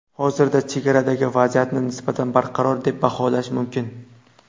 Hozirda chegaradagi vaziyatni nisbatan barqaror deb baholash mumkin.